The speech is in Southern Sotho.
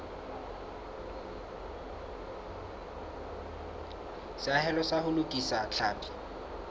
seahelo sa ho lokisa tlhapi